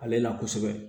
Ale na kosɛbɛ